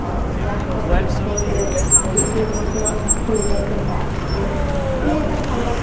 অ্যাঁ করে দর্শকদের যে কেউ emotional হয়ে হয়ে যাইতে বাধ্য জিনিষটা ভাল লাগসে